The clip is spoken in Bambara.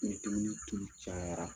Ni dumuni tulu cayara